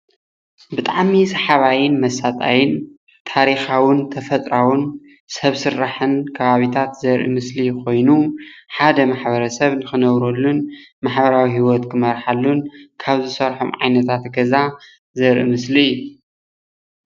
ብጣዕሚ ሰሓባይን መሣጣይን ታሪኻውን ተፈጥራውን ሰብ ስራሕን ኻብብታት ዘርኢ ምስሊ ኾይኑ ሓደ ማሕበረሰብ ንኽነብረሉን ማሕበራዊ ሂወት ኽምርሓሉን ካብ ዝሰርሖም ዓይነታት ገዛ ዝርአ ምስሊ እዩ።